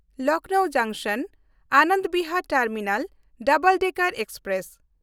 Lucknow ᱡᱚᱝᱥᱚᱱ–ᱟᱱᱟᱚᱱᱫ Bihar terminal double decker express